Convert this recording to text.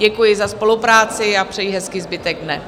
Děkuji za spolupráci a přeji hezký zbytek dne.